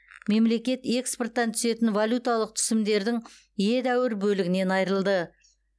мемлекет экспорттан түсетін валюталық түсімдердің едәуір бөлігінен айырылды